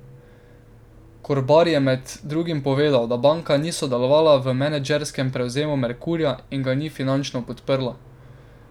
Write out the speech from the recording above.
Korbar je med drugim povedal, da banka ni sodelovala v menedžerskem prevzemu Merkurja in ga ni finančno podpirala.